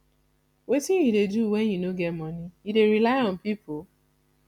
wetin you dey do when you no get monie you dey rely on people